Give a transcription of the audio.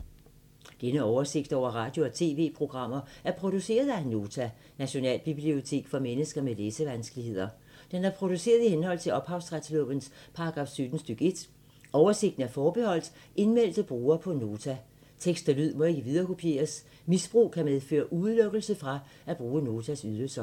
Denne oversigt over radio og TV-programmer er produceret af Nota, Nationalbibliotek for mennesker med læsevanskeligheder. Den er produceret i henhold til ophavsretslovens paragraf 17 stk. 1. Oversigten er forbeholdt indmeldte brugere på Nota. Tekst og lyd må ikke viderekopieres. Misbrug kan medføre udelukkelse fra at bruge Notas ydelser.